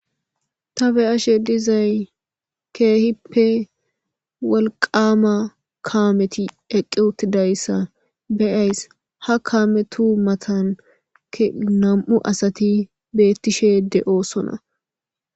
Ta be ashe dizay keehippe walqama kaameti eqqi wuttidayssa beyays ha kaametu matan e nam7u asati beettishe de7oosona.